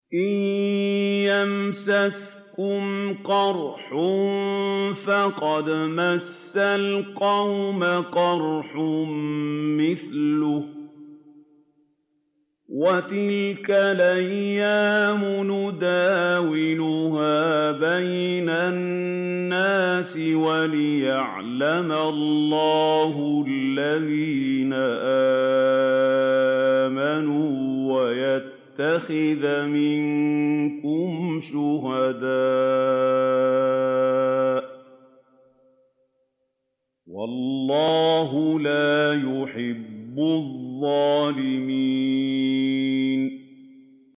إِن يَمْسَسْكُمْ قَرْحٌ فَقَدْ مَسَّ الْقَوْمَ قَرْحٌ مِّثْلُهُ ۚ وَتِلْكَ الْأَيَّامُ نُدَاوِلُهَا بَيْنَ النَّاسِ وَلِيَعْلَمَ اللَّهُ الَّذِينَ آمَنُوا وَيَتَّخِذَ مِنكُمْ شُهَدَاءَ ۗ وَاللَّهُ لَا يُحِبُّ الظَّالِمِينَ